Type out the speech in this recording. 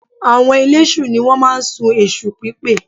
Àwọn eléṣù ni wọ́n máa ń sun èṣùpípè